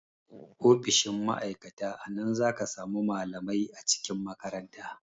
Ofishin ma'aikata a nan zaka samu malamai a cikin makaranta